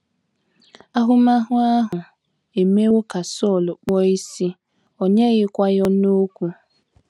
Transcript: Ahụmahụ ahụ emewo ka Sọl kpuo ìsì, o nyeghịkwa ya ọnụ okwu.